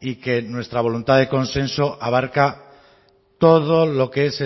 y que nuestra voluntad de consenso abarca todo lo que es